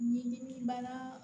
Ɲimi bana